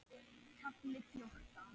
KAFLI FJÓRTÁN